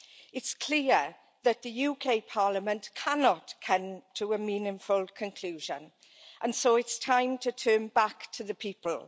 It's clear that the UK Parliament cannot come to a meaningful conclusion and so it's time to turn back to the people.